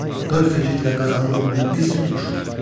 40 igidlə Qazanın oğlunu biz tutmuşuq.